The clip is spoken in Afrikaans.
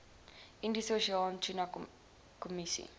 indiese oseaan tunakommissie